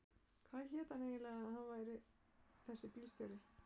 Hvað hélt hann eiginlega að hann væri þessi bílstjóri.